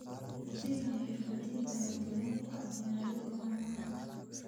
Adeegyo xirfadeed ayaa diyaar u ah beeralayda caanaha.